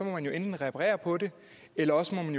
må man jo enten reparere på det eller også må man